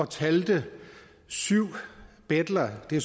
talte jeg syv betlere det